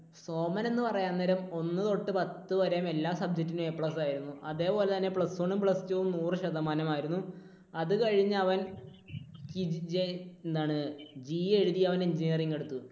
സോമൻ എന്ന് പറയാൻ നേരം ഒന്നു തൊട്ടു പത്തു വരെ എല്ലാ subject നും A plus ആയിരുന്നു. അതുപോലെതന്നെ plus one ഉം plus two ഉം നൂറ് ശതമാനം ആയിരുന്നു. അതുകഴിഞ്ഞ് അവൻ എന്താണ് GE എഴുതി അവൻ engineering എടുത്തു.